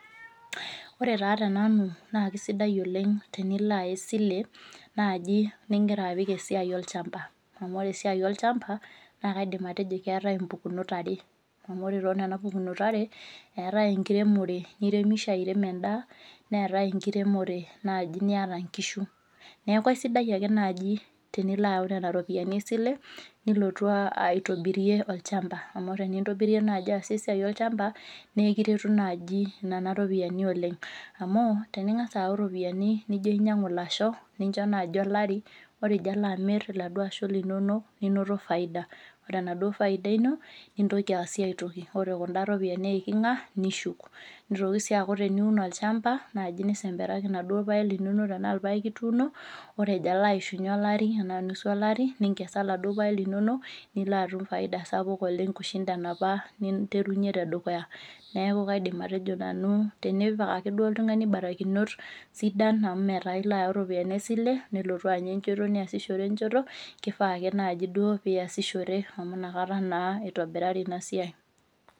Ore taa tenanu naa kesidai oleng' tenilo aya esile naaji nigira apik esiai olchamba. Amu ore esiai olchamba naa kaidim atejo keetai imbukunot are, amu ore toonena pukunot are, eetai enkiremore niremisho airem endaa, neetai enkiremore naaji niata inkishu. Neeku aisidai ake naaji tenilo ayau nena ropiyiani esile, nilotu aitobirie olchamba, amu ore entobirie naaji aasie esiai olchamba, naa ekiretu naaji nena ropiyiani oleng',amu teninkasa aau iropiyiani nijo ainyiangu ilasho ninjo naaji olari ore ijo alo amir iladuo asho linono ninito faida, ore enaduo faida ino, nintoki aasie aitoki ore nena ropiyiani eikinga nishuk. Nitoki sii aaku teniun olchamba tenesha paa ilpayek ituuno ore ejo alo aishunye olari tenaa nusu olari nitekesa iladuo payek linono nilo atum faida sapuk oleng' kushinda inapa ninterunyie tedukuya. Neeku kaidim atejo nanu tenipik ake duo oltungani imbarakinot sidan, amu metaa ilo ayau iropiyiani esile nilotu anya enjeto niasishore enjoto kifaa ake duo pee iyasishore amu nakata naa itobirari ina siai.